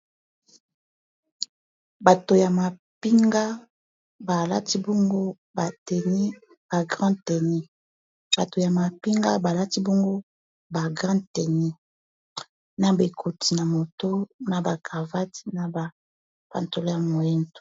bato ya mapinga balati bongo bagrande teni na bekoti na moto na bacravate na ba pantolo ya moindo